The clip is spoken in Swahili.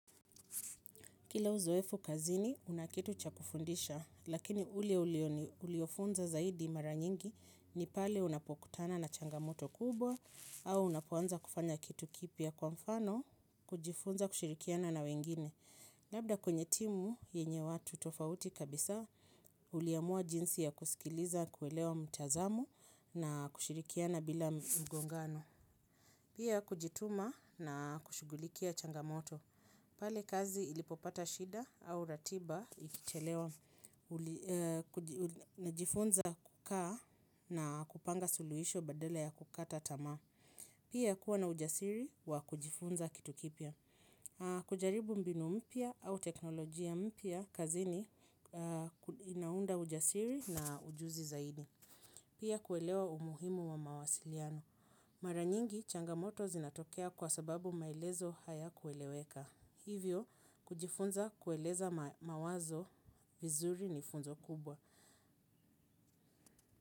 Kila uzoefu kazini, kuna kitu cha kufundisha, lakini ulebuliofunza zaidi mara nyingi ni pale unapokutana na changamoto kubwa au unapoanza kufanya kitu kipya kwa mfano, kujifunza kushirikiana na wengine. Labda kwenye timu yenye watu tofauti kabisa, uliamua jinsi ya kusikiliza kuelewa mtazamo na kushirikiana bila mgongano. Pia kujituma na kushugulikia changamoto. Pale kazi ilipopata shida au ratiba ikichelewa najifunza kukaa na kupanga suluhisho badala ya kukata tamaa. Pia kuwa na ujasiri wa kujifunza kitu kipya. Kujaribu mbinu mpya au teknolojia mpya kazini inaunda ujasiri na ujuzi zaidi pia kuelewa umuhimu wa mawasiliano. Maranyingi changamoto zinatokea kwa sababu maelezo hayakueleweka. Hivyo kujifunza kueleza mawazo vizuri ni funzo kubwa.